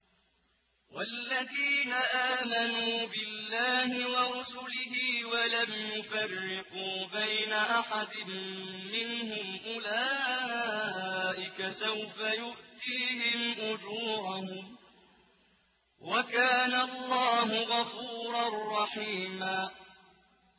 وَالَّذِينَ آمَنُوا بِاللَّهِ وَرُسُلِهِ وَلَمْ يُفَرِّقُوا بَيْنَ أَحَدٍ مِّنْهُمْ أُولَٰئِكَ سَوْفَ يُؤْتِيهِمْ أُجُورَهُمْ ۗ وَكَانَ اللَّهُ غَفُورًا رَّحِيمًا